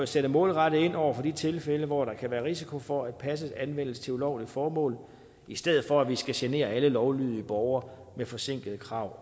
sætte målrettet ind over for de tilfælde hvor der kan være risiko for at passet anvendes til ulovlige formål i stedet for at vi skal genere alle lovlydige borgere med forsinkede krav